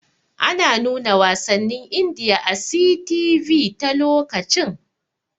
Ana nuna wasannin Indiya a 'CTV' ta lokacin.